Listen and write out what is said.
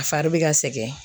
A fari bɛ ka sɛgɛn